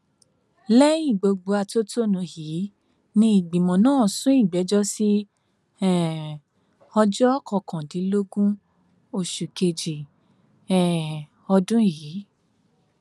lẹyìn gbogbo atótónu yìí ni ìgbìmọ náà sún ìgbẹjọ sí um ọjọ kọkàndínlógún oṣù kejì um ọdún yìí